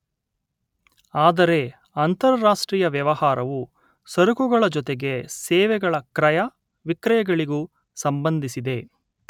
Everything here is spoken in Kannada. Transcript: ಆದರೆ ಅಂತರಾಷ್ಟ್ರೀಯ ವ್ಯವಹಾರವು ಸರಕುಗಳ ಜೊತೆಗೆ ಸೇವೆಗಳ ಕ್ರಯ ವಿಕ್ರಯಗಳಿಗೂ ಸಂಬಂಧಿಸಿದೆ